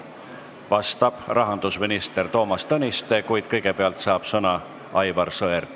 Vastab rahandusminister Toomas Tõniste, kuid kõigepealt saab sõna Aivar Sõerd.